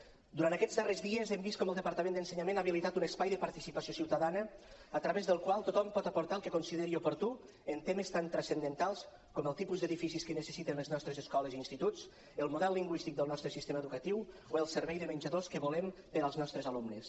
durant aquests darrers dies hem vist com el departament d’ensenyament ha habilitat un espai de participació ciutadana a través del qual tothom pot aportar el que consideri oportú en temes tan transcendentals com el tipus d’edificis que necessiten les nostres escoles i instituts el model lingüístic del nostre sistema educatiu o el servei de menjadors que volem per als nostres alumnes